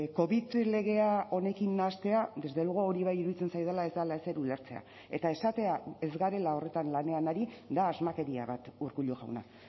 covid legea honekin nahastea desde luego hori bai iruditzen zaidala ez dela ezer ulertzea eta esatea ez garela horretan lanean ari da asmakeria bat urkullu jauna